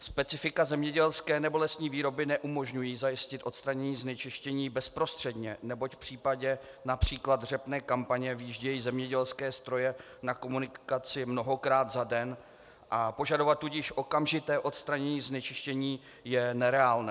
Specifika zemědělské nebo lesní výroby neumožňují zajistit odstranění znečištění bezprostředně, neboť v případě například řepné kampaně vyjíždějí zemědělské stroje na komunikaci mnohokrát za den, a požadovat tudíž okamžité odstranění znečištění je nereálné.